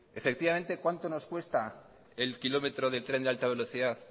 cuánto nos cuesta el kilómetro de tren de alta velocidad